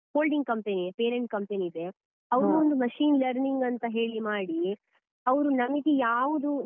Holding company, parent company ಇದೆ ಅವ್ರೊಂದು machine learning ಅಂತ ಹೇಳಿ ಮಾಡಿ ಅವ್ರು ನಮ್ಗೆ ಯಾವುದು.